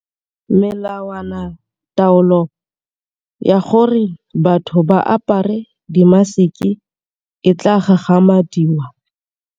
Melawanataolo ya gore batho ba apare dimaseke e tla gagamadiwa.